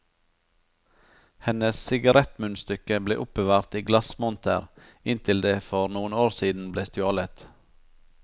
Hennes sigarettmunnstykke ble oppbevart i glassmonter inntil det for noen år siden ble stjålet.